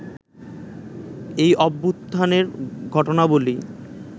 এই অভ্যুত্থানের ঘটনাবলী